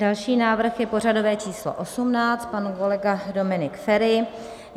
Další návrh je pořadové číslo 18, pan kolega Dominik Feri.